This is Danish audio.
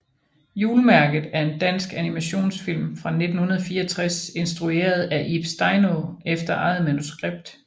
Julemærket er en dansk animationsfilm fra 1964 instrueret af Ib Steinaa efter eget manuskript